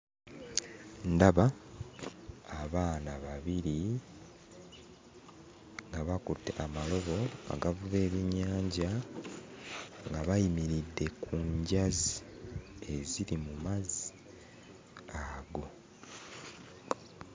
Ndaba abaana babiri nga bakutte amalobo agavuba ebyennyanja nga bayimiridde ku njazi eziri mu mazzi ago.